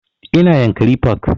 Ina yankari park